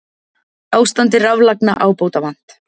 Ástandi raflagna ábótavant